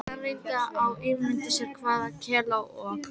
Hann reyndi að ímynda sér hvað Kela og